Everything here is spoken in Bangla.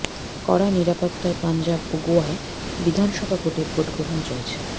কড়া নিরাপত্তায় পাঞ্জাব ও গোয়ায় বিধানসভা ভোটের ভোটগ্রহণ চলছে